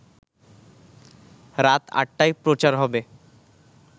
রাত ৮টায় প্রচার হবে